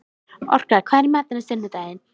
Orka, hvað er í matinn á sunnudaginn?